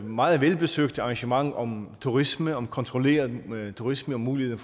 meget velbesøgte arrangement om turisme om kontrolleret turisme og mulighed